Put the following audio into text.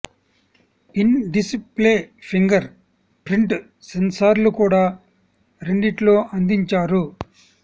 in display fingerprint సెన్సార్లు కూడా రెండిట్లో అందించారు